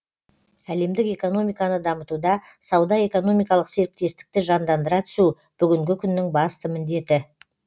әлемдік экономиканы дамытуда сауда экономикалық серіктестікті жандандыра түсу бүгінгі күннің басты міндеті